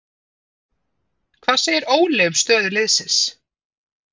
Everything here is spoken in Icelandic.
Hvað segir Óli um stöðu liðsins?